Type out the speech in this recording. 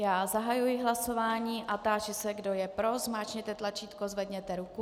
Já zahajuji hlasování a táži se, kdo je pro, zmáčkněte tlačítko, zvedněte ruku.